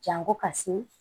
Jango ka se